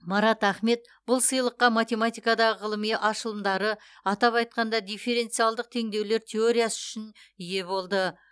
марат ахмет бұл сыйлыққа математикадағы ғылыми ашылымдары атап айтқанда дифференциалдық теңдеулер теориясы үшін ие болды